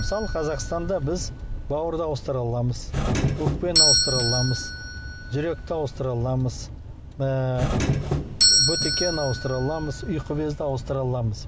мысалы қазақстанда біз бауырды ауыстыра аламыз өкпені ауыстыра аламыз жүректі ауыстыра аламыз ыыы бөтегені ауыстыра аламыз ұйқы безді ауыстыра аламыз